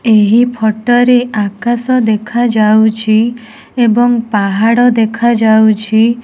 ଏହି ଫଟରେ ଆକାଶ ଦେଖାଯାଉଛି ଏବଂ ପାହାଡ ଦେଖାଯାଉଛି।